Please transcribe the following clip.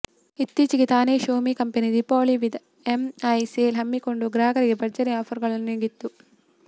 ಇತ್ತೀಚೆಗೆ ತಾನೇ Xiaomi company Deepavali with MI sale ಹಮ್ಮಿಕೊಂಡು ಗ್ರಾಹಕರಿಗೆ ಭರ್ಜರಿ ಆಫರ್ಗಳನ್ನು ನೀಡಿತ್ತು